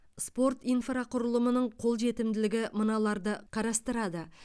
спорт инфрақұрылымының қолжетімділігі мыналарды қарастырады